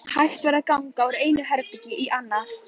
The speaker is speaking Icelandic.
Hægt var að ganga úr einu herbergi í annað.